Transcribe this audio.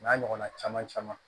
O n'a ɲɔgɔnna caman caman